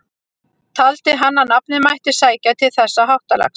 Taldi hann að nafnið mætti sækja til þessa háttalags.